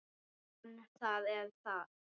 En það er þarft.